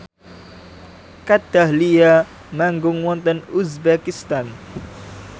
Kat Dahlia manggung wonten uzbekistan